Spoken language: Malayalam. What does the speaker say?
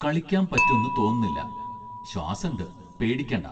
കളിക്കാൻ പറ്റുംന്ന് തോന്നുന്നില്ല ശ്വാസംണ്ട് പേടിക്കണ്ട